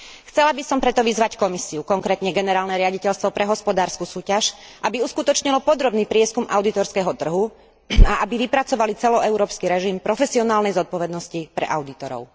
Chcela by som preto vyzvať Komisiu, konkrétne Generálne riaditeľstvo pre hospodársku súťaž, aby uskutočnilo podrobný prieskum audítorského trhu a aby vypracovali celoeurópsky režim profesionálnej zodpovednosti pre audítorov.